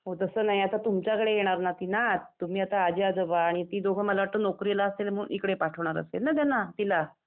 हो तसं नाही आता तुमच्या कडे येणार न ती नात . तुम्ही आता आजी आजोबा. आणि ती दोघं मला वाटतं नौकरीला असतील म्हणून इकडं पाठवणार असतील त्यांना तिला.